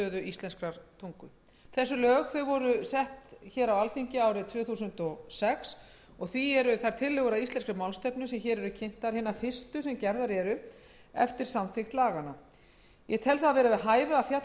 íslenskrar tungu þessi lög voru sett af alþingi árið tvö þúsund og sex og því eru þær tillögur að íslenskri málstefnu sem hér eru kynntar hinar fyrstu sem gerðar eru eftir samþykkt laganna ég tel það vera við hæfi að fjallað sé um